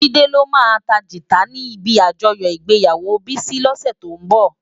Jide lo má tá gitá ni ibi ájòyò igbéyáwó Bisi lòsè tó nbò